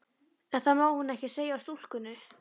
En það má hún ekki segja stúlkunni.